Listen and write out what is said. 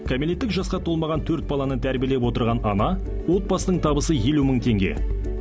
кәмелеттік жасқа толмаған төрт баланы тәрбиелеп отырған ана отбасының табысы елу мың теңге